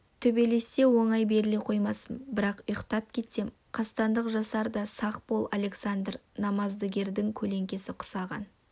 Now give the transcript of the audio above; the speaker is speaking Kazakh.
төбелессе оңай беріле қоймаспын бірақ ұйықтап кетсем қастандық жасар да сақ бол александр намаздыгердің көлеңкесі құсаған